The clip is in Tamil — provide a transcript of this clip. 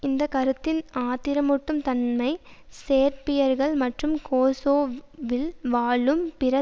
இந்த கருத்தின் ஆத்திரமூட்டும் தன்மை சேர்பியர்கள் மற்றும் கோசோவில் வாழும் பிற